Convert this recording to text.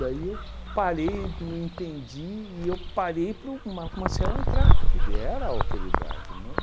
Daí eu parei, não entendi, e eu parei para o Marco Maciel entrar, porque ele era a autoridade, né?